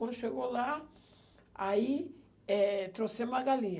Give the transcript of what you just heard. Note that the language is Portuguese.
Quando chegou lá, aí, eh, trouxemos a galinha.